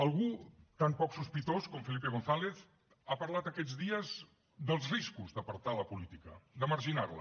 algú tan poc sospitós com felipe gonzález ha parlat aquests dies dels riscos d’apartar la política de marginar la